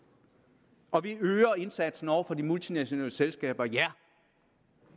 og afgiftsbelagt vi øger indsatsen over for de multinationale selskaber ja